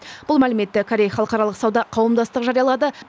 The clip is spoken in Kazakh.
бұл мәліметті корей халықаралық сауда қауымдастығы жариялады